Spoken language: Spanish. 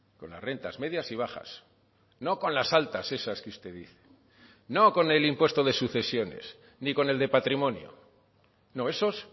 con las rentas medias y bajas no con las altas esas que usted dice no con el impuesto de sucesiones ni con el de patrimonio no esos